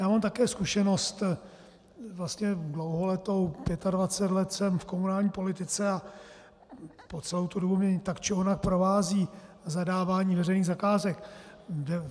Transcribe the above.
Já mám také zkušenost vlastně dlouholetou, 25 let jsem v komunální politice, a po celou tu dobu mě tak či onak provází zadávání veřejných zakázek.